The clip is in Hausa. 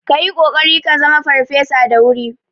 Ka yi kokari ka zama farfesa da wuri